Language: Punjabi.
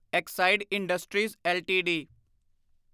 Exide Industries LTD